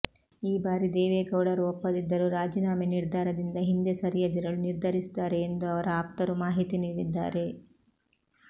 ಈ ಬಾರಿ ದೇವೇಗೌಡರು ಒಪ್ಪದಿದ್ದರೂ ರಾಜೀನಾಮೆ ನಿರ್ಧಾರದಿಂದ ಹಿಂದೆ ಸರಿಯದಿರಲು ನಿರ್ಧರಿಸಿದ್ದಾರೆ ಎಂದು ಅವರ ಆಪ್ತರು ಮಾಹಿತಿ ನೀಡಿದ್ದಾರೆ